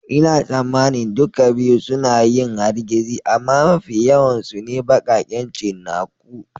Ina tsammanin duka biyu suna yin hargitsi amma mafi yawan su ne baƙaƙen cinnaku.